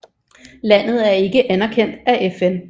Landet er ikke anerkendt af FN